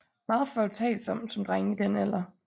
Meget foretagsom som drenge i den alder